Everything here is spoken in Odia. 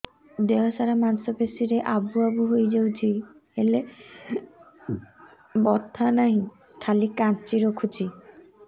ଦେହ ସାରା ମାଂସ ପେଷି ରେ ଆବୁ ଆବୁ ହୋଇଯାଇଛି ହେଲେ ବଥା ନାହିଁ ଖାଲି କାଞ୍ଚି ରଖୁଛି